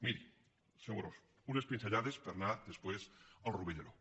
miri senyor amorós unes pinzellades per anar després al rovell de l’ou